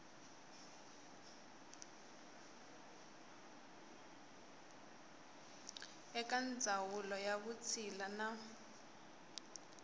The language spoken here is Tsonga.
eka ndzawulo ya vutshila na